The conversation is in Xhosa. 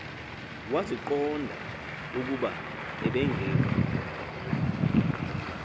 waziqonda ukuba ebengeka